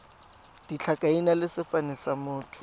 ditlhakaina le sefane sa motho